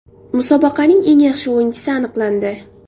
Musobaqaning eng yaxshi o‘yinchisi aniqlandi.